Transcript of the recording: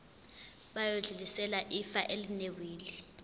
bayodlulisela ifa elinewili